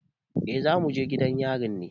Eh za mu je gidan yari ne.